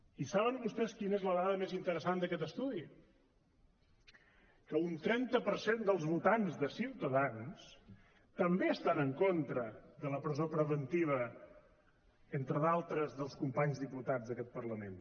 i saben vostès quina és la dada més interessant d’aquest estudi que un trenta per cent dels votants de ciutadans també estan en contra de la presó preventiva entre d’altres dels companys diputats d’aquest parlament